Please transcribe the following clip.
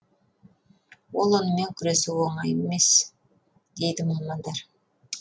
ал онымен күресу оңай емес дейді мамандар